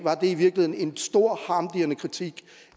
i virkeligheden en stor harmdirrende kritik